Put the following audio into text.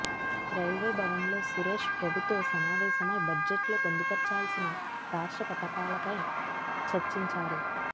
railway భవన్లో సురేష్ ప్రభుతో సమావేశమై బడ్జెట్లో పొందుపర్చాల్సిన రాష్ట్ర పథకాలపై చర్చించారు